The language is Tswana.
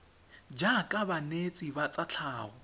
jaaka banetshi ba tsa tlhago